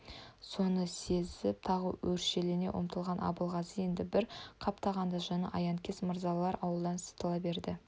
соны сезіп тағы өршелене ұмтылған абылғазы енді бір қаптағанда жаны аянкес мырзалар ауылдан сытыла берді